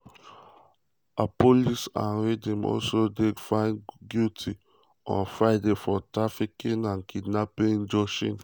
appollis and rhyn also dey found guilty on friday of kidnapping and trafficking joshlin.